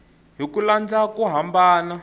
hi ku landza ku hambana